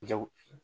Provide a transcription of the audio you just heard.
Jago